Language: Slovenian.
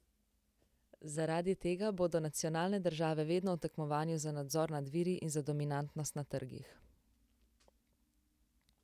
Zaradi tega bodo nacionalne države vedno v tekmovanju za nadzor nad viri in za dominantnost na trgih.